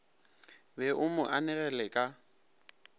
be o mo anegele ka